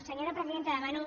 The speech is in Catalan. senyora presidenta demano